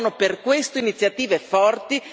Servono per questo iniziative forti